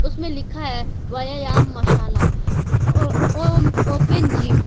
इसमें लिखा है व्यायाम मसाला ओ ओम ओपन जिम ।